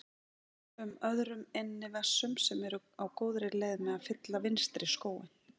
um öðrum innri vessum sem eru á góðri leið með að fylla vinstri skóinn.